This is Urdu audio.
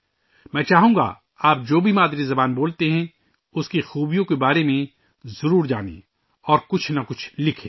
میں چاہوں گا کہ آپ جو بھی مادری زبان بولتے ہیں، اُس کی خوبیوں کے بارے میں ضرور جانیں اور کچھ نہ کچھ لکھیں